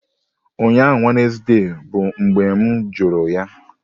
Ụnyaahụ Wednesday bụ mgbe m jụrụ ya!